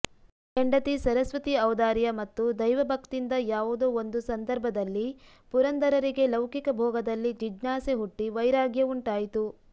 ಹೆಂಡತಿ ಸರಸ್ವತಿ ಔದಾರ್ಯ ಮತ್ತು ದೈವಭಕ್ತಿಯಿಂದ ಯಾವುದೋ ಒಂದು ಸಂದರ್ಭದಲ್ಲಿ ಪುರಂದರರಿಗೆ ಲೌಕಿಕ ಭೋಗದಲ್ಲಿ ಜಿಜ್ಞಾಸೆ ಹುಟ್ಟಿ ವೈರಾಗ್ಯ ಉಂಟಾಯಿತು